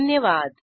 धन्यवाद